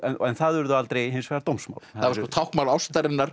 en það urðu aldrei hins vegar dómsmál það var táknmál ástarinnar